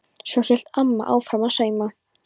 Svo hélt amma áfram að sauma.